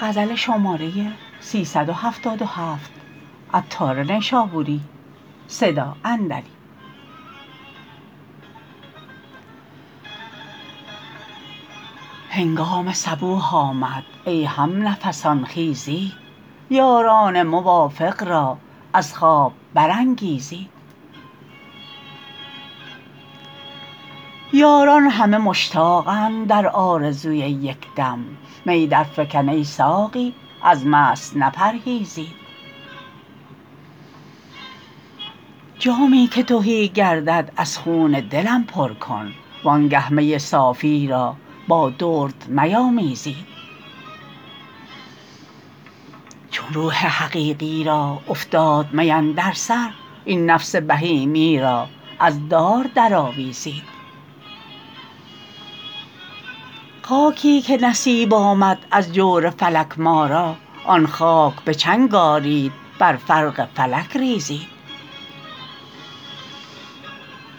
هنگام صبوح آمد ای هم نفسان خیزید یاران موافق را از خواب برانگیزید یاران همه مشتاقند در آرزوی یک دم می در فکن ای ساقی از مست نپرهیزید جامی که تهی گردد از خون دلم پر کن وانگه می صافی را با درد میامیزید چون روح حقیقی را افتاد می اندر سر این نفس بهیمی را از دار در آویزید خاکی که نصیب آمد از جور فلک ما را آن خاک به چنگ آرید بر فرق فلک ریزید